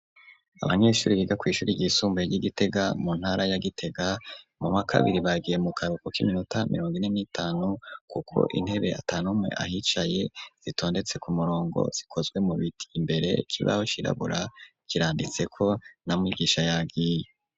Abanyeshure biga kw'ishure ry'isumbuye ry'igitega mu ntara ya gitega mu mwaka wakabiri bagiye mu karuhuko k'iminota mirongo ine n'itanu kuko intebe atanumwe ahicaye zitondetse ku murongo zikozwe mu biti, imbere c'ibaho kirabura kiranditseko na mwigisha yagiye.